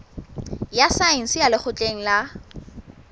ya saense ya lekgotleng la